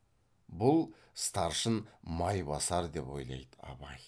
бұл старшын майбасар деп ойлайды абай